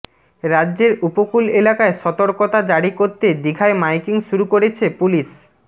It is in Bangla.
রাজ্যের উপকূল এলাকায় সতর্রকতা জারি করতে দিঘায় মাইকিং শুরু করেছে পুলিশ